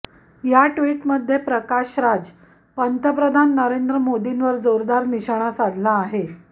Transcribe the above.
या ट्विटमध्ये प्रकाश राज पंतप्रधान नरेंद्र मोदींवर जोरदार निशाणा साधला आहे